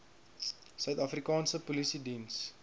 suid afrikaanse polisiediens